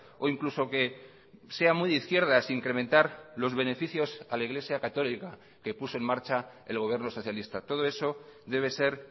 o incluso que sea muy de izquierdas incrementar los beneficios a la iglesia católica que puso en marcha el gobierno socialista todo eso debe ser